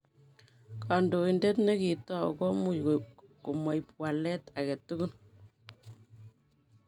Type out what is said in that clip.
Kondoidet nekitou komuch komoib walet agetugul.